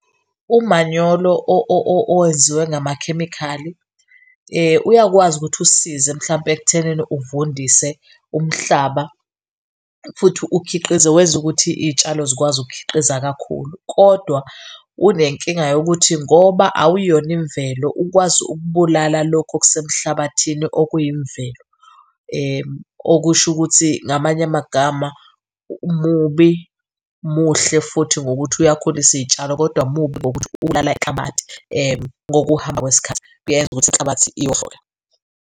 Umanyolo owenziwe ngamakhemikhali uyakwazi ukuthi usisize mhlawumpe ekuthenini uvundise umhlaba futhi ukhiqize, wenza ukuthi izitshalo zikwazi ukukhiqiza kakhulu. Kodwa unenkinga yokuthi ngoba awuyona imvelo ukwazi ukubulala lokhu okuse mhlabathini okuyimvelo okusho ukuthi ngamanye amagama, mubi muhle futhi ngokuthi uyakhulisa izitshalo kodwa mubi ngokuthi ubulala inhlabathi. Ngokuhamba kwesikhathi kuyayenza ukuthi inhlabathi iwohloke.